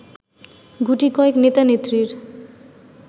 গুটিকয়েক নেতা-নেত্রীর